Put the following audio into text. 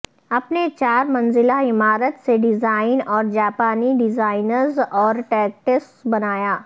اپنے چار منزلہ عمارت سے ڈیزائن اور جاپانی ڈیزائنرز اور ٹیکٹس بنایا